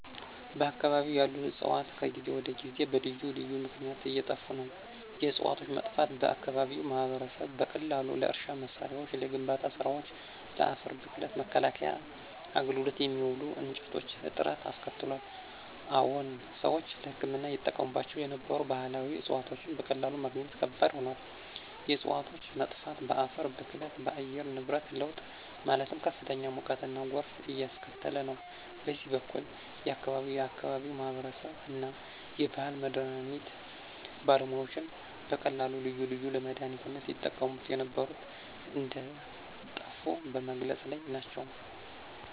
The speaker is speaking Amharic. በአከባቢው ያሉ ዕፅዋት ከጊዜ ወደ ጊዜ በልዩ ልዩ ምክነያት እየጠፋ ነው። የዕፅዋቶቹ መጥፋት በአከባቢው ማህበረሰብ በቀላሉ ለእርሻ መሳሪያዎች፣ ለግንባታ ስራወች፣ ለአፈር ብክለት መከላከያ አገልግሎት የሚውሉ እንጨቶች እጥረት አስከትሏል። አዎን ሰዎች ለህክምና ይጠቀሙባቸው የነበሩ ባህላዊ ዕፅዋቶች በቀላሉ ማግኘት ከባድ ሆኗል። የእፅዋቶች መጥፋት በአፈር ብክለት፣ በአየር ንብረት ለውጥ ማለትም ከፍተኛ ሙቀትና ጎርፍ እያስከተለ ነው። በሌላ በኩል የአከባቢው የአከባቢው ማህበረሰብ እና የባህል መድሀኒት ባለሙያዎች በቀላሉ ልዩ ልዩ ለመድሃኒነት ይጠቀሙ የነበሩ እንደጠፉ በመግለፅ ላይ ናቸው።